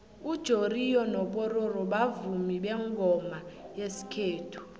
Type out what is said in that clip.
ujoriyo nopororo bavumi bengoma zesikhethu